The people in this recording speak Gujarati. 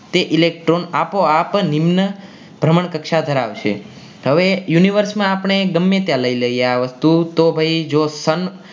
તે electron આપોઆપ જ એમનાભ્રમણ કક્ષા ધરાવે છે બસમાં આપણે ગમે ત્યાં લઈ લઈએ આ વસ્તુ તો જો ભાઈ